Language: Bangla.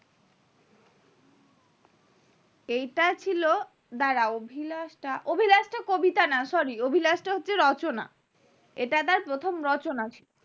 এইটা ছিল দ্বারা অভিলাসটা কবিতা না sorry অভিলাসটা হচ্ছে রচনা এটা তার প্রথম রচনা ছিল